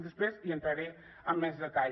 després hi entraré amb més detall